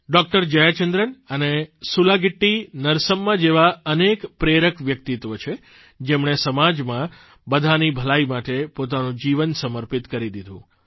doctor Jayachandran અને સુલાગિટ્ટી નરસમ્મા જેવાં અનેક પ્રેરક વ્યક્તિત્વ છે જેમણે સમાજમાં બધાંની ભલાઇ માટે પોતાનું જીવન સમર્પિત કરી દીધું